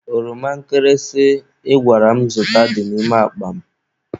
Oroma nkịrịsị ị gwara m zụta dị n'ime akpa m.